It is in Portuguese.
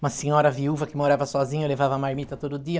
uma senhora viúva que morava sozinha, levava marmita todo dia.